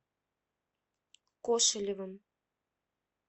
кошелевым